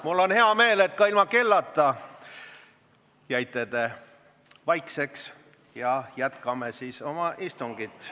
Mul on hea meel, et ka ilma kellata jäite te vaikseks ja jätkame siis oma istungit.